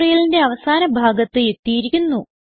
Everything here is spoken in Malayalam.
ട്യൂട്ടോറിയലിന്റെ അവസാന ഭാഗത്ത് എത്തിയിരിക്കുന്നു